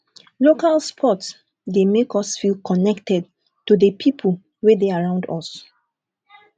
local sport dey make us feel connected to di pipo wey de around us